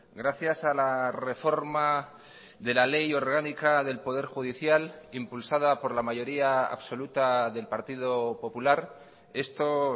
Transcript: gracias a la reforma de la ley orgánica del poder judicial impulsada por la mayoría absoluta del partido popular esto